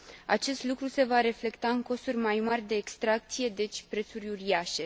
Acest lucru se va reflecta în costuri mai mari de extracție, deci prețuri uriașe.